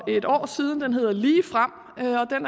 et år siden den hedder ligefrem